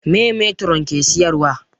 Meye metiron ke siyar wa?